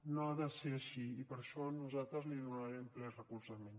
no ha de ser així i per això nosaltres hi donarem ple recolzament